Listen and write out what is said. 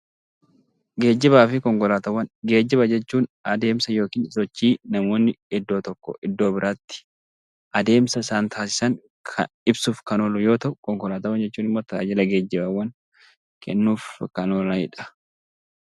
Geejjibaa fi Konkolaataawwan Geejjiba jechuun adeemsa (sochii) namoonni iddoo tokkoo iddoo biraatti adeemsa isaan taasisan ibsuuf kan oolu yoo ta'u, konkolaataawwan jechuun immoo tajaajila geejjibaawwan kennuuf kan oolanii dha.